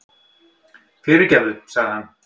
Fyrirgefðu, sagði hann.